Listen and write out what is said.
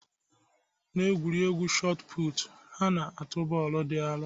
Na egwuregwu shot put, ha na-atụ bọọlụ di aro